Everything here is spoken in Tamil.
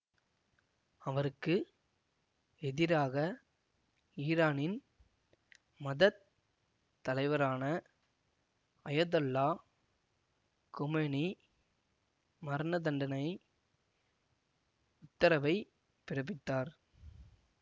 அவருக்கு எதிராக ஈரானின் மதத் தலைவரான அயதொல்லா கொமெனி மரணதண்டனை உத்தரவை பிறப்பித்தார்